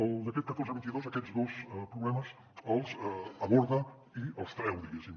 el decret catorze dos mil vint dos aquests dos problemes els aborda i els treu diguéssim